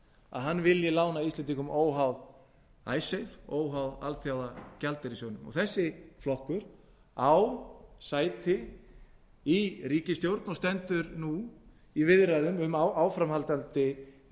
að hann vilji lána íslendingum óháð icesave óháð alþjóðagjaldeyrissjóðnum og þessi flokkur á sæti í ríkisstjórn og stendur nú í viðræðum um áframhaldandi